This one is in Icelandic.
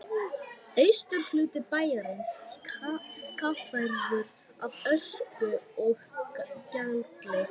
Austurhluti bæjarins kaffærður af ösku og gjalli.